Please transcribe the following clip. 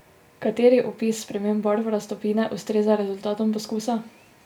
Kateri opis sprememb barv raztopine ustreza rezultatom poskusa?